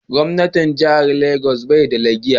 Gwamnan Jihar Lagos bai da lagiya.